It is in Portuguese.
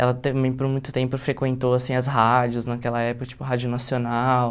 Ela também por muito tempo frequentou assim as rádios naquela época, tipo Rádio Nacional.